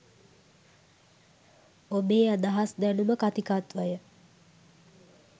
ඔබේ අදහස් දැනුම කථිකත්වය